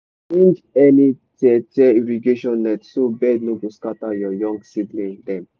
change any tear tear irrigation net so bird no go scatter your young seedling dem.